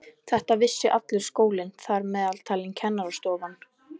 Þetta vissi allur skólinn, þar með talin kennarastofan.